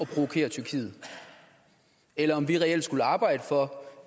provokere tyrkiet eller om vi reelt skulle arbejde for